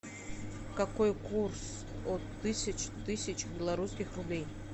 какой курс от тысяч тысяч белорусских рублей